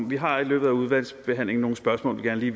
vi har i løbet af udvalgsbehandlingen nogle spørgsmål vi